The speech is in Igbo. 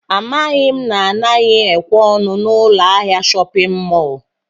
Amaghị m na anaghị ekwe ọnụ n'ụlọ ahịa shọpịn mọl